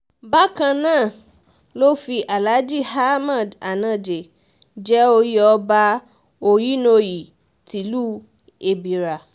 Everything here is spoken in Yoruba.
bákan náà ló fi alhaji ahmed anaje jẹ oyè ọba ohinoyi tìlùú ebírà